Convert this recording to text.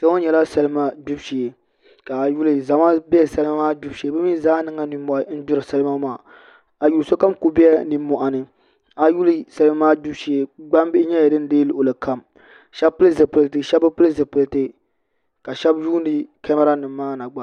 Kpɛ ŋo nyɛla salima gbubi shee zama bɛ salima maa gbubi shee bi mii zaa niŋla nimmohi n gbiri salima maa a yuli sokam ku biɛla nimmohi ni a yuli salima maa gbubu shee gbambihi nyɛla din deei luɣuli kam shab pili zipiliti shab bi pili zipiliti ka shab lihiri kamɛra nim maa na gba